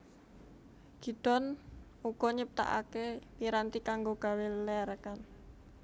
Gideon uga nyiptakake piranti kanggo gawé lerekan